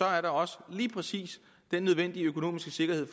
er der også lige præcis den nødvendige økonomiske sikkerhed